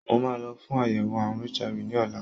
Mo máa lọ fún àyẹ̀wò àrùn HIV ní ọ̀la.